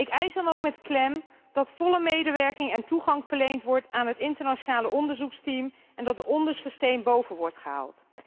Ik eis dan ook met klem dat volle medewerking en toegang verleend wordt aan het internationale onderzoeksteam en dat de onderste steen boven wordt gehaald.